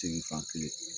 Seli fan kelen